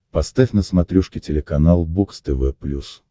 поставь на смотрешке телеканал бокс тв плюс